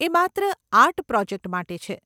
એ માત્ર art project માટે છે.